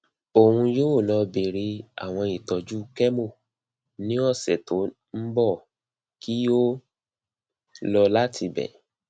oun yoo lọ bẹrẹ awọn itọju chemo ni ọsẹ to nbọ ki o lọ lati ibẹ